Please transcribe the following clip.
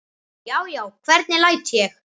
Já, já, hvernig læt ég!